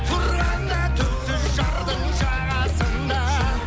тұрғанда түпсіз жардың жағасында